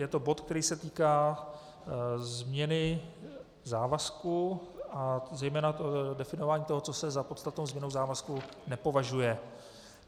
Je to bod, který se týká změny závazků a zejména definování toho, co se za podstatnou změnu závazku nepovažuje.